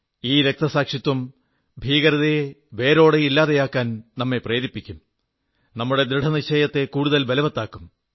ഈ രക്തസാക്ഷിത്വം ഭീകരതയെ വേരോടെ ഇല്ലാതെയാക്കാൻ നമ്മെ പ്രേരിപ്പിക്കും നമ്മുടെ ദൃഢനിശ്ചയത്തെ കൂടുതൽ ബലവത്താക്കും